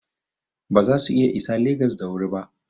Ba za su iya isa Legas da wuri ba.